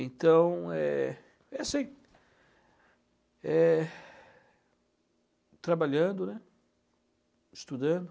Então, é é assim, é trabalhando, estudando.